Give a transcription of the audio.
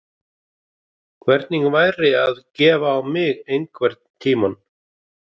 Hvernig væri að gefa á mig einhvern tímann?